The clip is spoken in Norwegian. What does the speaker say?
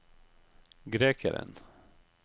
grekeren